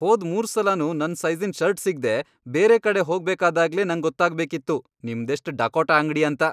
ಹೋದ್ ಮೂರ್ಸಲನೂ ನನ್ ಸೈಜಿ಼ನ್ ಷರ್ಟ್ ಸಿಗ್ದೇ ಬೇರೆ ಕಡೆ ಹೋಗ್ಬೇಕಾದಾಗ್ಲೇ ನಂಗ್ ಗೊತ್ತಾಗ್ಬೇಕಿತ್ತು ನಿಮ್ದೆಷ್ಟ್ ಡಕೋಟ ಅಂಗ್ಡಿ ಅಂತ.